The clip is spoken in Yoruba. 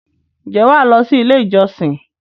ǹjẹ́ wà á lọ sí “ ilé-ìjọsìn ”?